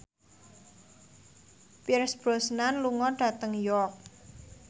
Pierce Brosnan lunga dhateng York